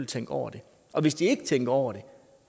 tænke over det og hvis de ikke tænker over